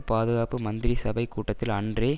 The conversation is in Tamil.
பாதுகாப்பு மந்திரிசபை கூட்டத்தில் அன்றே